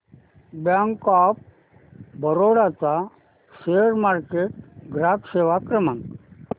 bank of Baroda चा share market ग्राहक सेवा क्रमांक